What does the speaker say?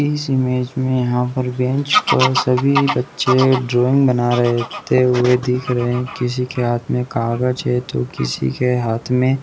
इस इमेज में यहाँ पर बेंच पर सभी बच्चे ड्राइंग बनाते हुए दिख रहे किसी के हाथ में कागज है तो किसी के हाथ में--